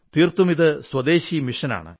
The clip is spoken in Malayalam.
തീർത്തും ഇത് സ്വദേശി ദൌത്യമാണ്